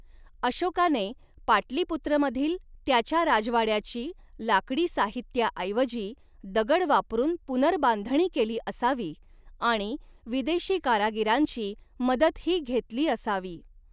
अशोकाने पाटलीपुत्रमधील त्याच्या राजवाड्याची लाकडी साहित्याऐवजी दगड वापरून पुनर्बांधणी केली असावी आणि विदेशी कारागिरांची मदतही घेतली असावी.